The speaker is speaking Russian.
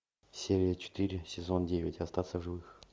серия четыре сезон девять остаться в живых